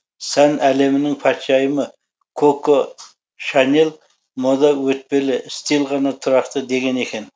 сән әлемінің патшайымы коко шанель мода өтпелі стиль ғана тұрақты деген екен